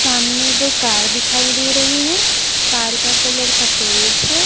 सामने दो कार दिखाई दे रही है कार का कलर सफेद है।